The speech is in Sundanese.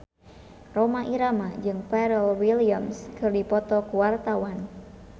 Rhoma Irama jeung Pharrell Williams keur dipoto ku wartawan